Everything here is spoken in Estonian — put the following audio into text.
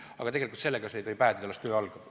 Aga tegelikult pole see töö lõppenud, töö alles algab.